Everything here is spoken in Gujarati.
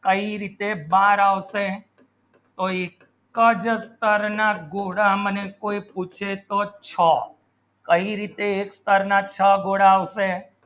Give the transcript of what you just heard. કઈ રીતે બાર આવશે તો એકચ સ્તર ના ગોળા મને કોઈ પૂછે તો છ કઈ રીતે એક સ્તર ના છ ગોળા આવશે